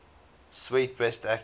swet best actress